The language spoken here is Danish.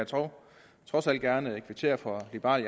trods alt gerne kvittere for at liberal